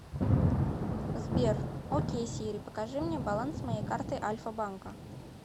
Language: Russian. сбер окей сири покажи мне баланс моей карты альфа банка